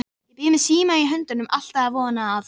Ég bíð með símann í höndunum, alltaf að vona að